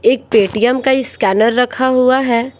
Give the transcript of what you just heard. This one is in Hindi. एक पेटीएम का स्कैनर रखा हुआ है।